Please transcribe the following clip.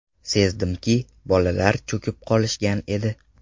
Sezdimki, bolalar cho‘kib qolishgan edi.